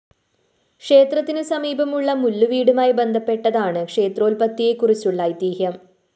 ക്ഷേത്രത്തിനു സമീപമുള്ള മുല്ലുവീടുമായി ബന്ധപ്പെട്ടതാണ് ക്ഷേത്രോല്‍പത്തിയെകുറിച്ചുള്ള ഐതിഹ്യം